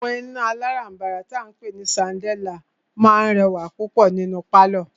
Àwọn iná alárànbàrà tí a ń pé ní ṣandáliá máà rẹwà púpọ̀ nínú pálọ̀.